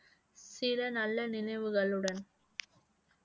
சில நல்ல நினைவுகளுடன்